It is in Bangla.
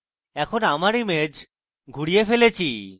এখন আমায় আমার image ঘুরিয়ে ফেলেছি